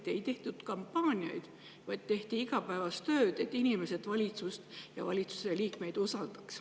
Siis ei tehtud kampaaniaid, vaid tehti igapäevast tööd selle nimel, et inimesed valitsust ja valitsusliikmeid usaldaks.